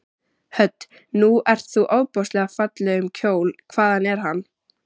Hödd: Nú ert þú ofboðslega fallegum kjól, hvaðan er hann?